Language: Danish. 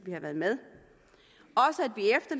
havde været med